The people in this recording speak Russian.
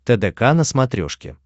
тдк на смотрешке